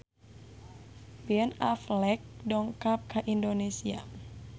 Ben Affleck dongkap ka Indonesia